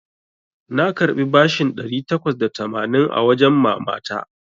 Na karɓi bashin ɗari takwas da tamanin a wajen mama ta.